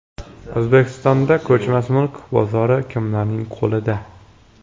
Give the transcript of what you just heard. O‘zbekistonda ko‘chmas mulk bozori kimlarning qo‘lida?.